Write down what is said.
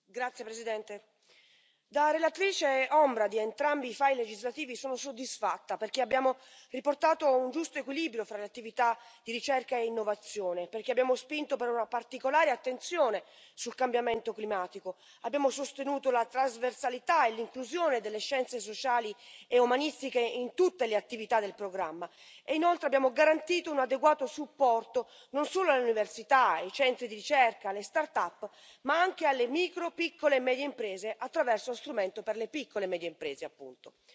Signor Presidente, onorevoli colleghi, da relatrice ombra di entrambi i file legislativi sono soddisfatta, perché abbiamo riportato un giusto equilibrio fra le attività di ricerca e innovazione, perché abbiamo spinto per una particolare attenzione sul cambiamento climatico, abbiamo sostenuto la trasversalità e l'inclusione delle scienze sociali e umanistiche in tutte le attività del programma e, inoltre, abbiamo garantito un adeguato supporto non solo all'università e ai centri di ricerca, alle startup, ma anche alle micro, piccole e medie imprese attraverso uno strumento per le piccole e medie imprese, appunto.